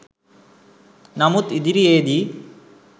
නමුත් ඉදිරියේදී